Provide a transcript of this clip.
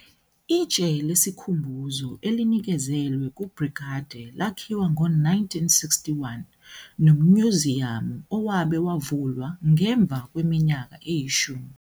Itshe lesikhumbuzo elinikezelwe ku-Brigade lakhiwa ngo-1961, nomnyuziyamu owabe wavulwa ngemva kweminyaka eyishumi.